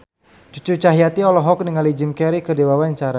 Cucu Cahyati olohok ningali Jim Carey keur diwawancara